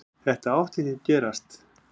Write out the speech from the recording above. Þetta átti ekki að gerast.